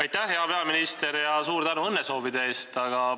Aitäh, hea peaminister, ja suur tänu õnnesoovide eest!